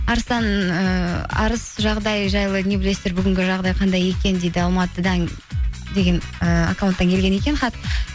арыстан ыыы арыс жағдайы жайлы не білесіздер бүгінгі жағдайы қандай екен дейді алматыдан деген ііі аккаунттан келген екен хат